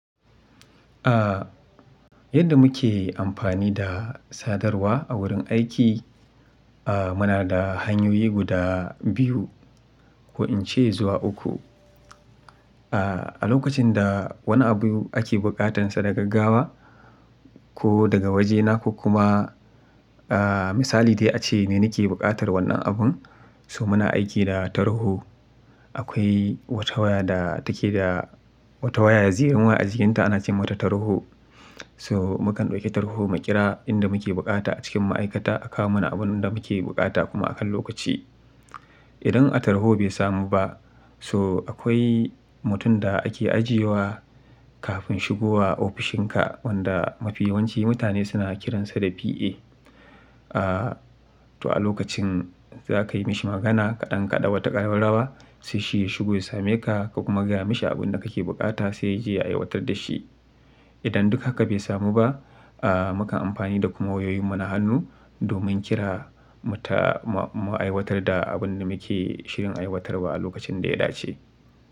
Yadda muke amfani da sadarwa a wurin aiki, muna da hanyoyi guda biyu ko in ce zuwa uku. A lokacin da wani abu ake buƙatansa da gaggawa ko daga waje na ku kuma misali dai ace ni ni ke buƙatar wannan abun, so muna aiki da tarho. Akwai wata waya da take da wata waya ya zirin wa a jikinta ana ce mata tarho. So mukan ɗauki tarho maƙira inda muke buƙata a cikin ma'aikata a kawo mana abun da muke buƙata kuma akan lokaci. Idan a tarho bai samu ba, so akwai mutum da ake ajiye wa kafin shigo wa ofishinka wanda mafi yawanci mutane suna kiransa da PA. To a lokacin za ka yi mashi magana kaɗan kaɗawa ta ƙararrawa sai shi ya shigo ya same ka ka kuma gaya mashi abin da kake buƙata sai ya je ya aiwatar da shi. Idan duk haka bai samu ba, mukan amfani da kuma wayoyin mu na hannu domin kira mu aiwatar da abin da muke shirin aiwatarwa a lokacin da ya dace.